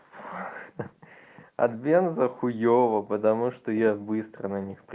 от бенза хуёво потому что я быстро на ней пр